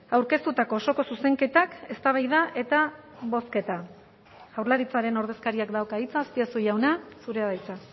aurkeztutako osoko zuzenketak eztabaida eta bozketa jaurlaritzaren ordezkariak dauka hitza azpiazu jauna zurea da hitza